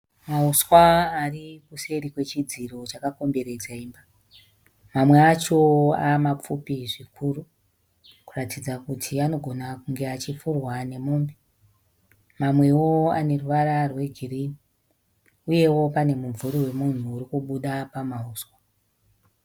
Mahuswa ari kuseri kwechidziro chakakomberedza imba. Mamwe acho ava mapfupi zvikuru kuratidza kuti anogona kunge achifurwa nemombe. Mamwewo ane ruvara rwegirinhi uyewo pane mumvuri wemunhu uri kubuda pamahuswa.